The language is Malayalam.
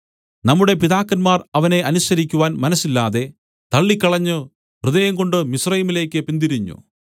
നമ്മുടെ പിതാക്കന്മാർ അവനെ അനുസരിക്കുവാൻ മനസ്സില്ലാതെ തള്ളിക്കളഞ്ഞു ഹൃദയംകൊണ്ട് മിസ്രയീമിലേക്ക് പിന്തിരിഞ്ഞു